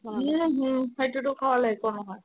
উম হুম সেইটো খালে একো নহয়